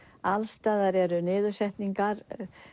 alls staðar eru niðursetningar